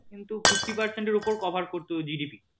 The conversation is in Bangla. কিন্তু fifty percent এর উপর cover করত GDP